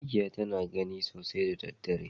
Mikya tana gani sosai da daddare.